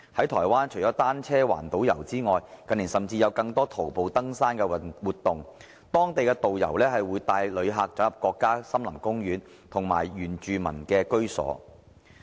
台灣除了單車環島遊，近年甚至有更多徒步登山活動，當地導遊會帶旅客進入國家森林公園和原住民居所。